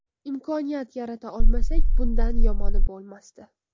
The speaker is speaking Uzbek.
Imkoniyat yarata olmasak, bundan yomoni bo‘lmasdi.